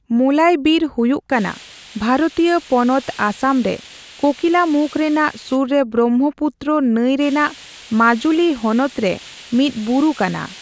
ᱢᱳᱞᱟᱭ ᱵᱤᱨ ᱦᱩᱭᱩᱜ ᱠᱟᱱᱟ ᱵᱷᱟᱨᱚᱛᱤᱭᱚ ᱯᱚᱱᱚᱛ ᱟᱥᱟᱢ ᱨᱮ ᱠᱳᱠᱤᱞᱟᱢᱩᱠᱷ ᱨᱮᱱᱟᱜ ᱥᱩᱨ ᱨᱮ ᱵᱨᱚᱦᱢᱚᱯᱩᱛᱨᱚ ᱱᱟᱹᱭ ᱨᱮᱱᱟᱜ ᱢᱟᱹᱡᱩᱞᱤ ᱦᱚᱱᱚᱛ ᱨᱮ ᱢᱤᱫ ᱵᱩᱨᱩ ᱠᱟᱱᱟ ᱾